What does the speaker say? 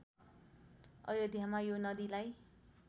अयोध्यामा यो नदीलाई